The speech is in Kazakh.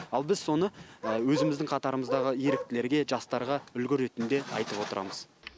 ал біз соны өзіміздің қатарымыздағы еріктілерге жастарға үлгі ретінде айтып отырамыз